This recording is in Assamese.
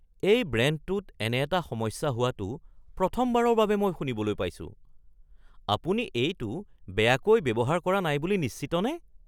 এই ব্ৰেণ্ডটোত এনে এটা সমস্যা হোৱাটো প্ৰথমবাৰৰ বাবে মই শুনিবলৈ পাইছো। আপুনি এইটো বেয়াকৈ ব্যৱহাৰ কৰা নাই বুলি নিশ্চিতনে? (জোতা বিক্ৰেতা)